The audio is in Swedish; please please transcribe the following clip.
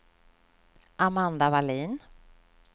Amanda Vallin